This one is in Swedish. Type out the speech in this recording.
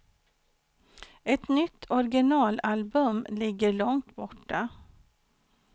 Ett nytt originalalbum ligger långt borta.